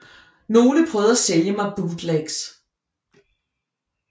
Nogle prøvede at sælge mig bootlegs